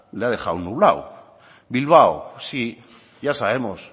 le ha dejado nublado bilbao sí ya sabemos